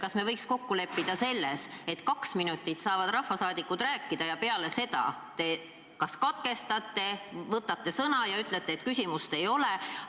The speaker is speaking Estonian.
Kas me võiks kokku leppida selles, et kaks minutit saavad rahvasaadikud rääkida ja peale seda te katkestate ja ütlete, et küsimust ei ole?